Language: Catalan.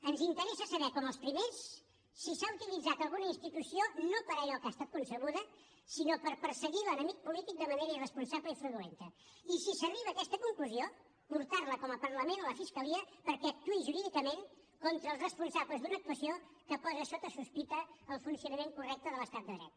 ens interessa saber com els primers si s’ha utilitzat alguna institució no per a allò que ha estat concebuda sinó per perseguir l’enemic polític de manera irresponsable i fraudulenta i si s’arriba a aquesta conclusió portar la com a parlament a la fiscalia perquè actuï jurídicament contra els responsables d’una actuació que posa sota sospita el funcionament correcte de l’estat de dret